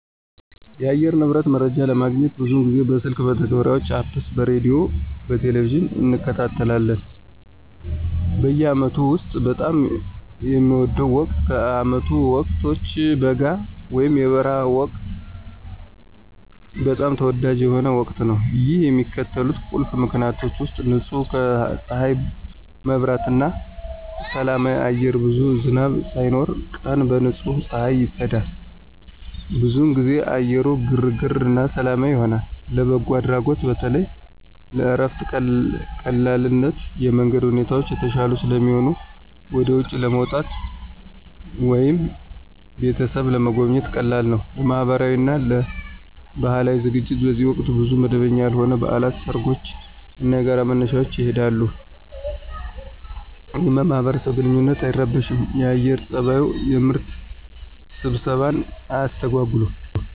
የአየር ንብረት መረጃ ለማግኘት ብዙውን ጊዜ በስልክ መተግበሪያዎች (Apps) በሬዲዮ፣ በቴሊቪዥን እንከታተላለን ላይ እንከታተላለን። በአመቱ ውስጥ በጣም የሚወደው ወቅት ከዓመቱ ወቅቶች በጋ (የበረሃ ወቅት) በጣም ተወዳጅ የሆነው ወቅት ነው። ይህ በሚከተሉት ቁልፍ ምክንያቶች ውሰጥ · ንጹህ ከፀሐይ መብራት እና ሰላማዊ አየር ብዙም ዝናብ ሳይኖር፣ ቀን በንጹህ ፀሐይ ይጸዳል። ብዙውን ጊዜ አየሩ ግርግር እና ሰላማዊ ይሆናል። · ለበጎ አድራጎት በተለይም ለእረፍት ቀላልነት የመንገድ ሁኔታዎች የተሻሉ ስለሚሆኑ ወደ ውጪ ለመውጣት ወይም ቤተሰብን ለመጎብኘት ቀላል ነው። · ለማህበራዊ እና ለባህላዊ ዝግጅቶች በዚህ ወቅት ብዙ መደበኛ ያልሆኑ በዓላት፣ ሰርጎች እና የጋራ መነሻዎች ይካሄዳሉ፣ ይህም የማህበረሰብ ግንኙነትን አይረብሽም የአየር ፀባዩ። የምርት ስብሰባን አያስተጎጉልም።